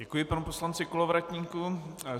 Děkuji panu poslanci Kolovratníkovi.